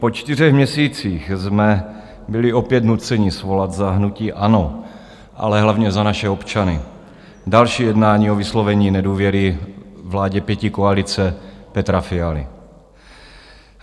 Po čtyřech měsících jsme byli opět nuceni svolat za hnutí ANO, ale hlavně za naše občany další jednání o vyslovení nedůvěry vládě pětikoalice Petra Fialy.